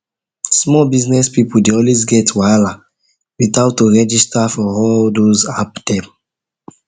small business people dey always get wahala with how to registar for all those app dem